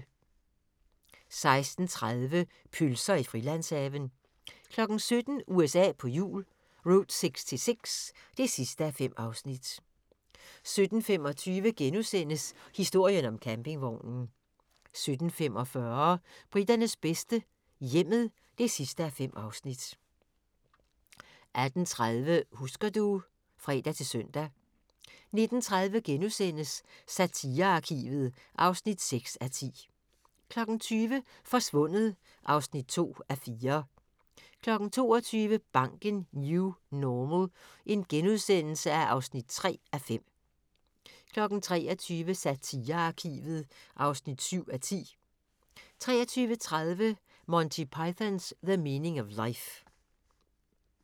16:30: Pølser i Frilandshaven 17:00: USA på hjul - Route 66 (5:5) 17:25: Historien om campingvognen * 17:45: Briternes bedste - hjemmet (5:5) 18:30: Husker du ... (fre-søn) 19:30: Satirearkivet (6:10)* 20:00: Forsvundet (2:4) 22:00: Banken - New Normal (3:5)* 23:00: Satirearkivet (7:10) 23:30: Monty Python's The Meaning of Life